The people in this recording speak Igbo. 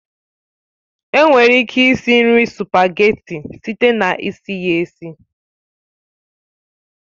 Enwere ike esi nri sụpageti site na isi ya esi